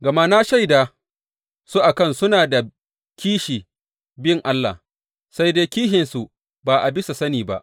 Gama na shaida su a kan suna da kishi bin Allah, sai dai kishinsu ba a bisa sani ba.